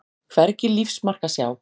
Hvergi lífsmark að sjá.